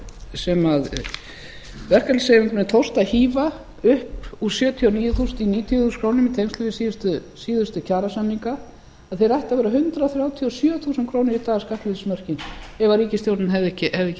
sem verkalýðshreyfingunni tókst að hífa upp úr sjötíu og níu þúsund upp í níutíu þúsund krónur í tengslum við síðustu kjarasamninga þeir ættu að vera hundrað þrjátíu og sjö þúsund krónur í dag skattleysismörkin ef ríkisstjórnin hefði ekki skert þau eins